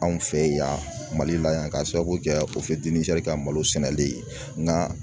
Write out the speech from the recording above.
Anw fɛ yen yan Mali la yan k'a sababu kɛ o ka malo sɛnɛli ye nka